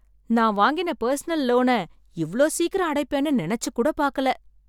நான் வாங்கின பர்சனல் லோன இவ்ளோ சீக்கிரம் அடைப்பேன்னு நினைச்சு கூட பார்க்கல.